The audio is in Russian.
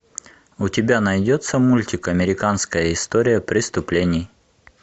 у тебя найдется мультик американская история преступлений